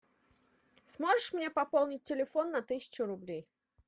сможешь мне пополнить телефон на тысячу рублей